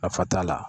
Nafa t'a la